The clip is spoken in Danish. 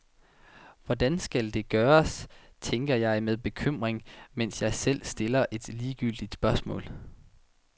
Hvordan skal det gøres, tænker jeg med bekymring, mens jeg selv stiller et ligegyldigt spørgsmål.